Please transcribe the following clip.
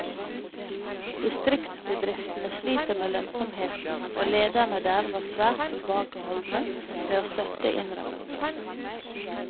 Distriktsbedriftene sliter med lønnsomheten og lederne der var svært tilbakeholdne med å støtte innrømmelser.